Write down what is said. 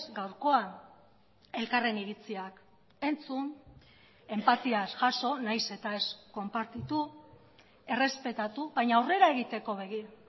gaurkoa elkarren iritziak entzun enpatiaz jaso nahiz eta ez konpartitu errespetatu baina aurrera egiteko begira